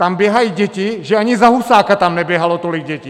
Tam běhaj děti, že ani za Husáka tam neběhalo tolik dětí!